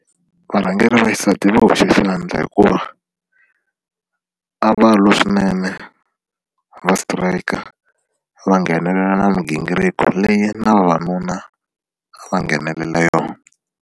Varhangeri va xisati va hoxe swi endla hikuva a va lwa swinene va sitirayika or va nghenelela na migingiriko leyi na vavanuna a va nghenelela yona.